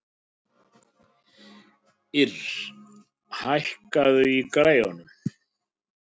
Ýrr, hækkaðu í græjunum.